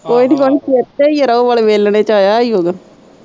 ਕੋਈ ਨੀ ਕੋਈ ਚੇਤੇ ਈ ਰੋਅ ਵਾਲੇ ਵੇਲਣੇ ਚ ਆਇਆ ਚ ਆਇਆ ਹੀ ਉਹ।